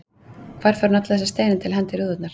Hvar fær hún alla þessa steina til að henda í rúðurnar?